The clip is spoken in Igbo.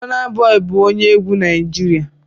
Burna Boy bụ onye egwu Naịjirịa